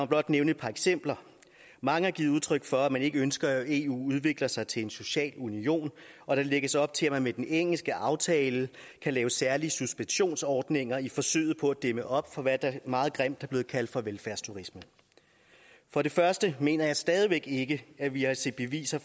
blot nævne et par eksempler mange har givet udtryk for at man ikke ønsker at eu udvikler sig til en social union og der lægges op til at man med den engelske aftale kan lave særlige suspensionsordninger i forsøget på at dæmme op for hvad der meget grimt er blevet kaldt for velfærdsturisme for det første mener jeg stadig væk ikke at vi har set beviser